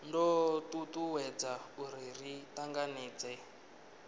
do tutuwedza uri ri tanganedzee